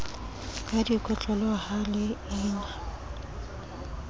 ka dikotlolo ha le ina